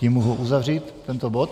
Tím mohu uzavřít tento bod.